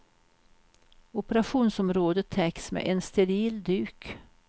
Operationsområdet täcks med en steril duk.